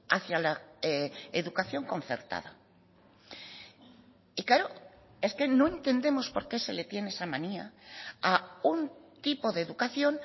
hacia la educación concertada y claro es que no entendemos por qué se le tiene esa manía a un tipo de educación